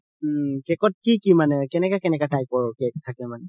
cake ত কি কি মানে কেনেকা কেনেকা type ৰ cake থাকে মানে